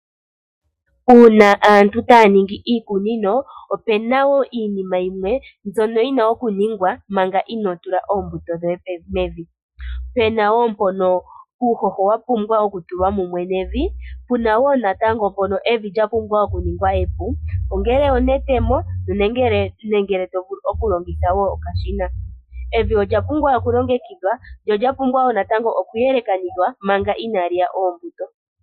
Uuna aantu taya ningi iikunino, opu na wo iinima yimwe mbyono yi na okuningwa manga inoo tula oombuto dhoye mevi. Pe na wo mpono uuhoho wa pumbwa okutulwa mumwe nevi, pu na wo natango mpono evi lya pumbwa okuningwa epu, ongele onetemo nenge to longitha okashina. Evi olya pumbwa lyo lya pumbwa okulongekidhwa noshowo okuyelekanithwa manga inaali ya oombuto.